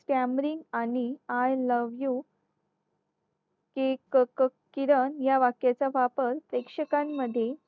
camry आणि I love you हि किरण या वाक्याचा वापर प्रेक्षकांमध्ये